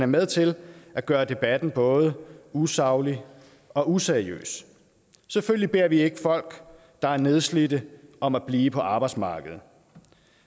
med til at gøre debatten både usaglig og useriøs selvfølgelig beder vi ikke folk der er nedslidte om at blive på arbejdsmarkedet